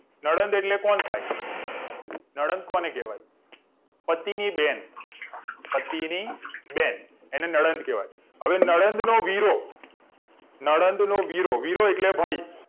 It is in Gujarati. નડદ એટલે કોણ થાય નડદ કોને કેવાય પતિની બેન પતિની બેન એને નડદ કેવાય અવે નડદ નો વીરો નડદ નો વીરો એટલે ભાઈ